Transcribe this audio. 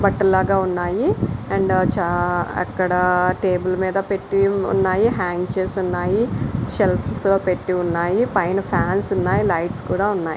బట్టలు లాగా ఉన్నాయి అండ్ అక్కడ టేబుల్ మీద పెట్టి ఉన్నాయి హ్యాంగ్ చేసి ఉన్నాయి సెల్ఫ్ లో పెట్టి ఉన్నాయి ఫాన్స్ ఉన్నాయి లైట్స్ కూడా పెట్టి ఉన్నాయి.